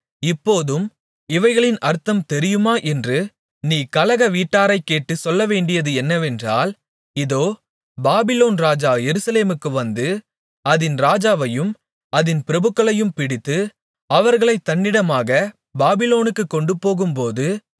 இப்போதும் இவைகளின் அர்த்தம் தெரியுமா என்று நீ கலகவீட்டாரைக் கேட்டுச் சொல்லவேண்டியது என்னவென்றால் இதோ பாபிலோன் ராஜா எருசலேமுக்கு வந்து அதின் ராஜாவையும் அதின் பிரபுக்களையும் பிடித்து அவர்களைத் தன்னிடமாகப் பாபிலோனுக்குக் கொண்டுபோகும்போது